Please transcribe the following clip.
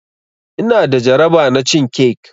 Ina da jaraba na cin cake.